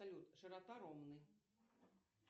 салют широта ромны